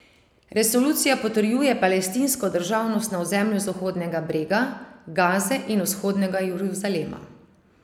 Resolucija potrjuje palestinsko državnost na ozemlju Zahodnega brega, Gaze in vzhodnega Jeruzalema.